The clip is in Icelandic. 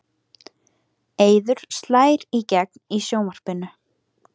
Eiður slær í gegn í sjónvarpinu